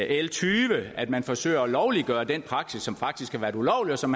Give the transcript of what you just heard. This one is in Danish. l tyve at man forsøger at lovliggøre den praksis som faktisk har været ulovlig og som